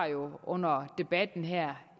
under debatten her